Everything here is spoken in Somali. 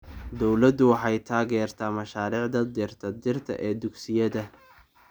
Dawladdu waxay taageertaa mashaariicda dhirta dhirta ee dugsiyada.